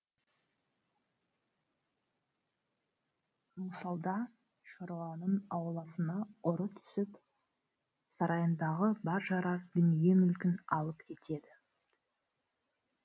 мысалда шаруаның ауласына ұры түсіп сарайындағы бар жарар дүние мүлкін алып кетеді